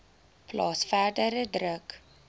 plaas verdere druk